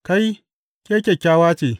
Kai, ke kyakkyawa ce!